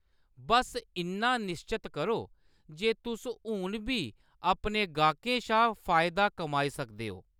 बस्स इन्ना निश्चत करो जे तुस हून बी अपने ग्राह्‌कें शा फायदा कमाई सकदे ओ।